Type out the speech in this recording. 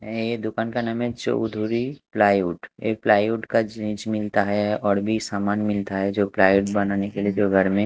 ये दुकान का नाम है चौधरी प्लाईवुड ये प्लाईवुड का चीज़ मिलता है और भी सामान मिलता है जो प्लाईवुड बनाने के लिए जो घर में--